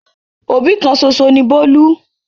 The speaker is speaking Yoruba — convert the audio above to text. Òbí kan ṣoṣo ni Bólú.